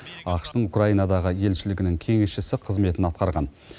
ақш тың украинадағы елшілігінің кеңесшісі қызметін атқарған